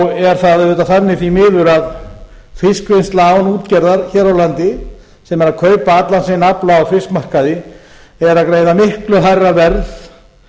akureyri er það auðvitað þannig því miður að fiskvinnsla án útgerðar hér á landi sem er að kaupa allan sinn afla á fiskmarkaði er að greiða miklu hærra verð fyrir